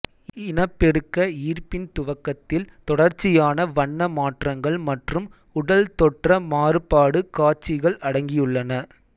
இனப்பெருக்க ஈர்ப்பின் துவக்கத்தில் தொடர்ச்சியான வண்ண மாற்றங்கள் மற்றும் உடல் தொற்ற மாறுபாடு காட்சிகள் அடங்கியுள்ளன